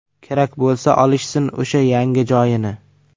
Kerak bo‘lsa, olishsin o‘sha yangi joyini.